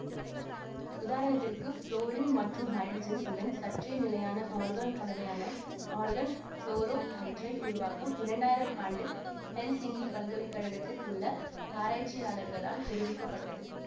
உதாரணத்திற்கு ஃபுளோரின் மற்றும் ஹைட்ரஜன் உடன் சற்றே நிலையான ஆர்கான் கலவையான ஆர்கான் ஃபுளோரோஹைட்ரைடு உருவாக்கம் இரண்டாயிரம் ஆண்டில் ஹெல்சிங்கி பல்கலை கழகத்தில் உள்ள ஆராய்ச்சியாளர்களால் தெரிவிக்க பட்டது